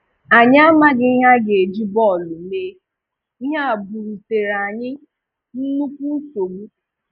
Anyị amaghị ihe a ga-eji bọọlụ mee, ihe a bú̀rùtèrè anyị nnukwu nsogbu.